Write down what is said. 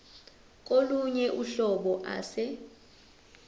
kolunye uhlobo ase